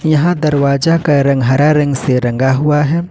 यहां दरवाजा का रंग हरा रंग से रंगा हुआ है।